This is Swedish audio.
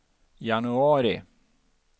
januari